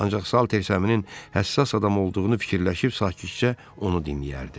Ancaq Saltersəminin həssas adam olduğunu fikirləşib sakitcə onu dinləyərdi.